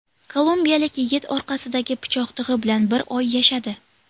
Kolumbiyalik yigit orqasidagi pichoq tig‘i bilan bir oy yashadi.